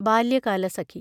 Balyakalasakhi